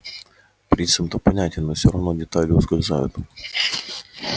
принцип-то понятен но все равно детали ускользают